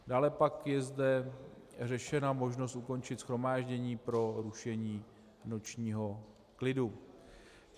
Dále pak je zde řešena možnost ukončit shromáždění pro rušení nočního klidu.